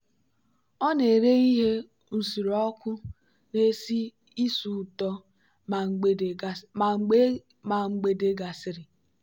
ọ na-ere ihe nsure ọkụ na-esi ísì ụtọ ma mgbede gasịrị.